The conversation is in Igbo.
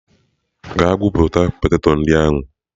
Gaa gwupụta poteto ndị ahụ!.